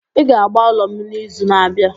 Ị ga agba ụlọ m n'izu na-abịa!